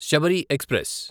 Sabari express